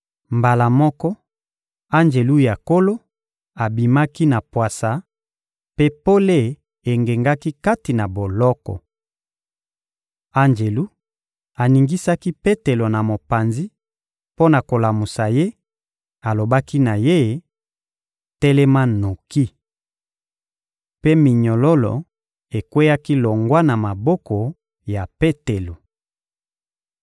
Mbala moko, anjelu ya Nkolo abimaki na pwasa, mpe pole engengaki kati na boloko. Anjelu aningisaki Petelo na mopanzi mpo na kolamusa ye; alobaki na ye: — Telema noki! Mpe minyololo ekweyaki longwa na maboko ya Petelo.